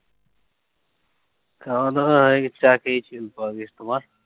খাওয়া দাওয়া হয়ে গেছে চাই খেয়েছি তোমার?